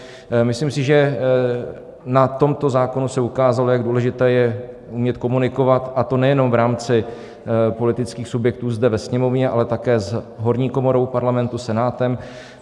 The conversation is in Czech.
Myslím si, že na tomto zákonu se ukázalo, jak důležité je umět komunikovat, a to nejenom v rámci politických subjektů zde ve Sněmovně, ale také s horní komorou Parlamentu, Senátem.